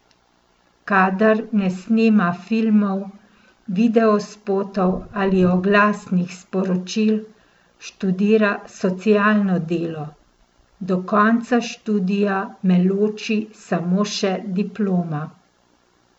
Kadar ne snema filmov, videospotov ali oglasnih sporočil, študira socialno delo: "Do konca študija me loči samo še diploma.